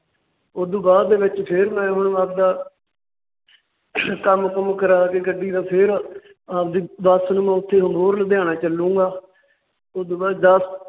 ਉਸ ਤੋਂ ਬਾਅਦ ਦੇ ਵਿੱਚ ਫਿਰ ਮੈ ਆਪਣਾ ਕੰਮ ਕੁਮ ਕਰਾ ਕੇ ਗੱਡੀ ਦਾ ਫਿਰ ਆਪਦੀ ਬੱਸ ਨੂੰ ਮੈਂ ਉੱਥੇ ਅਬੋਹਰ ਲੁਧਿਆਣਾ ਚਲੂੰਗਾ। ਉਸ ਤੋਂ ਬਾਅਦ ਦੱਸ